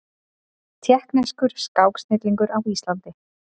Tékkneskur skáksnillingur á Íslandi